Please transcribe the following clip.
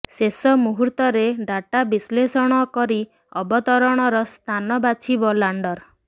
ଶେଷ ମୁହୂର୍ତରେ ଡାଟା ବିଶ୍ଲେଷଣ କରି ଅବତରଣର ସ୍ଥାନ ବାଛିବ ଲାଣ୍ଡର